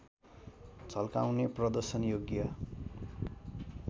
झल्काउने प्रदर्शन योग्य